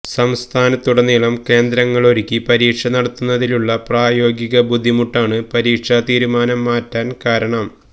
സംസ്ഥാനത്തുടനീളം കേന്ദ്രങ്ങളൊരുക്കി പരീക്ഷ നടത്തുന്നതിലുള്ള പ്രായോഗിക ബുദ്ധിമുട്ടാണ് പരീക്ഷാതീരുമാനം മാറ്റാൻ കാരണം